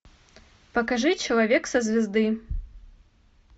покажи человек со звезды